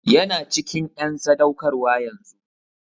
Yana cikin en sadaukarwa yanzun.